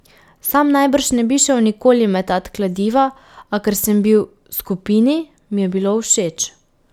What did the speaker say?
Sam najbrž ne bi šel nikoli metat kladiva, a ker sem bil skupini, mi je bilo všeč.